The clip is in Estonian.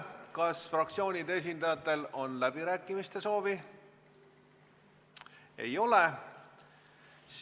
Kas fraktsioonide esindajatel on läbirääkimiste soovi?